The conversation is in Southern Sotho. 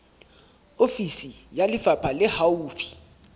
ofisi ya lefapha le haufi